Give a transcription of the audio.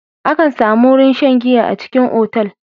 Akan samu wurin shan giya a cikin otal.